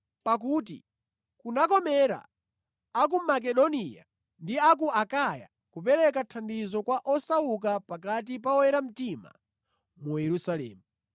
Pakuti kunakomera a ku Makedoniya ndi a ku Akaya kupereka thandizo kwa osauka pakati pa oyera mtima mu Yerusalemu.